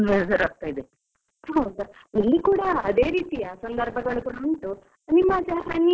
ಹೌದಾ, ಇಲ್ಲಿ ಕೂಡ ಅದೇ ರೀತಿ ಆದ ಸಂದರ್ಭಗಳು ಉಂಟು, ನಿಮ್ಮ ಆಚೆ ಹನಿ ಎಲ್ಲ ಬೀಳುದಿಲ್ವಾ?